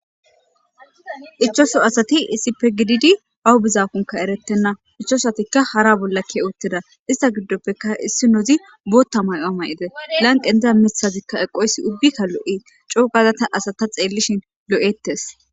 Ichashu asati issippe gididi awo beyakonne eretena ichashatika hare bola keiwutida iza gidoppeka issinozi botha mayo mayizes lanqe diza mitazi eqoyisi ubiaka loias cogada ta asata xelishe loates.